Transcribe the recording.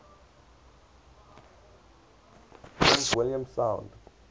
prince william sound